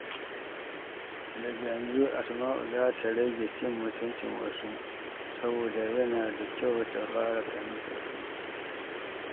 Daga yanzu, Asma’u za ta rage cin mutuncin wasu, saboda yana da kyau ta fara fahimtar su.